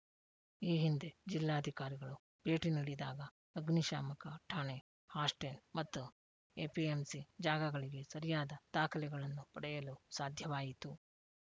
ಈ ಹಿಂದೆ ಜಿಲ್ಲಾಧಿಕಾರಿಗಳು ಭೇಟಿ ನೀಡಿದಾಗ ಆಗ್ನಿಶಾಮಕ ಠಾಣೆ ಹಾಸ್ಟೆಲ್‌ ಮತ್ತು ಎಪಿಎಂಸಿ ಜಾಗಗಳಿಗೆ ಸರಿಯಾದ ದಾಖಲೆಗಳನ್ನು ಪಡೆಯಲು ಸಾಧ್ಯವಾಯಿತು